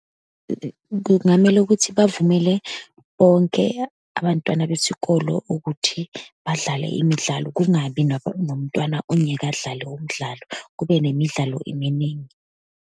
Kungamele ukuthi bavumele bonke abantwana besikolo ukuthi badlale imidlalo, kungabi nomntwana ongeke adlale umdlalo, kube nemidlalo eminingi.